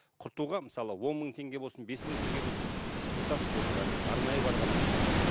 құртуға мысалы он мың теңге болсын бес мың теңге болсын сіз құртасыз оны бәрібір арнайы барғаннан кейін